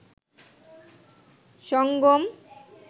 সঙ্গম